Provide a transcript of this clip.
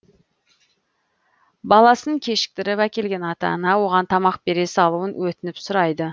баласын кешіктіріп әкелген ата ана оған тамақ бере салуын өтініп сұрайды